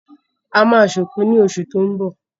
A ma ṣòkú ní oṣù tó ń bọ̀